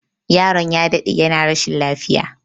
Yaron ya daɗe yana rashin lafiya